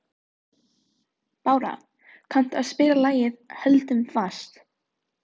Bára, kanntu að spila lagið „Höldum fast“?